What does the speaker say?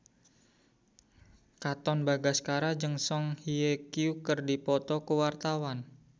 Katon Bagaskara jeung Song Hye Kyo keur dipoto ku wartawan